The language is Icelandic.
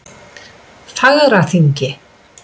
Fagraþingi